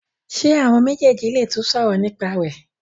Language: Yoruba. ṣe àwọn méjèjì lè tún sòrò nípa rẹ.